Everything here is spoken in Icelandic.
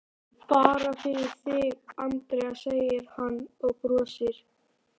Bara fyrir þig, Andrea, segir hann og brosir.